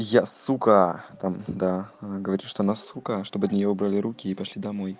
я сука там да она говорит что она сука чтобы от нее убрали руки и пошли домой